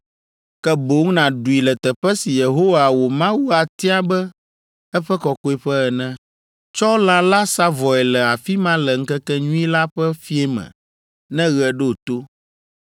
ke boŋ nàɖui le teƒe si Yehowa wò Mawu atia abe eƒe kɔkɔeƒe ene. Tsɔ lã la sa vɔe le afi ma le ŋkekenyui la ƒe fiẽ me ne ɣe ɖo to.